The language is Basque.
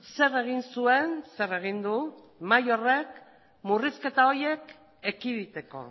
zer egin zuen zer egin du mahai horrek murrizketa horiek ekiditeko